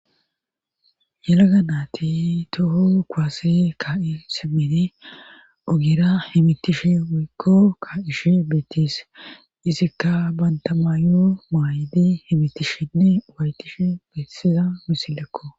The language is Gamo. yelaganaati toho kuwase ka7i simeni ogira himitishe woyko ka ishe beettis isikka bantamaayo maayidi himitishinne uwaytishe beetsiza misillekko